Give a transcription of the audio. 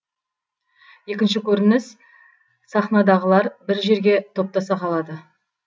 екінші көрініс сахнадағылар бір жерге топтаса қалады